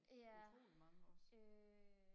ja øh